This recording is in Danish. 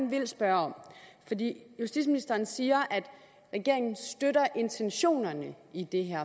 vil spørge om justitsministeren siger at regeringen støtter intentionerne i det her